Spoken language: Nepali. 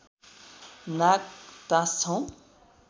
नाग टाँस्छौँ